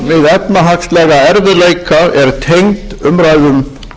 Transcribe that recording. efnahagslega erfiðleika er tengd umræðum